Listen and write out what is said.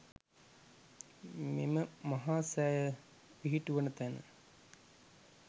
මෙම මහා සෑය පිහිටුවන තැන